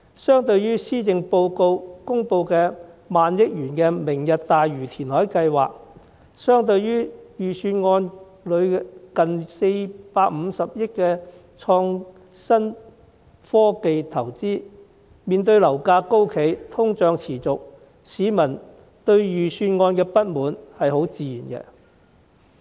施政報告公布萬億元"明日大嶼"填海計劃，預算案提出近450億元的創新科技投資，市民面對樓價高企，通脹持續，對預算案有不滿是很自然的。